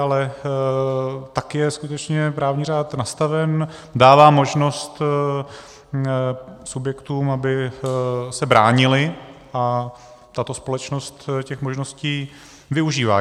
Ale tak je skutečně právní řád nastaven, dává možnost subjektům, aby se bránily, a tato společnost těch možností využívá.